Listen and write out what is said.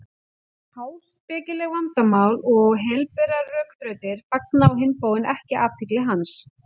Háspekileg vandamál og helberar rökþrautir fanga á hinn bóginn ekki athygli hans.